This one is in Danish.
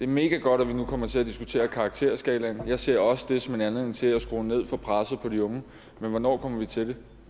megagodt at vi nu kommer til at diskutere karakterskalaen og jeg ser det også som en anledning til at skrue ned for presset på de unge men hvornår kommer vi til det